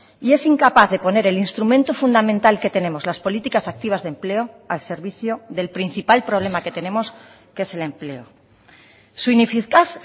y es incapaz de poner el instrumento fundamental que tenemos las políticas activas de empleo al servicio del principal problema que tenemos que es el empleo su ineficaz